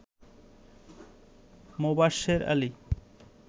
Mobashwer Ali